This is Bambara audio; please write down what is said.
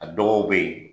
A dɔw bɛ yen